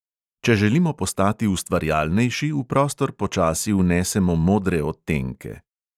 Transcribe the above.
Če želimo postati ustvarjalnejši, v prostor počasi vnesemo modre odtenke.